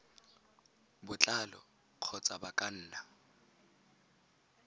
botlalo kgotsa ba ka nna